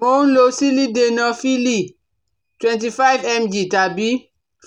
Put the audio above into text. Mò ń lo Sílídenafíìlì twenty five mg tàbí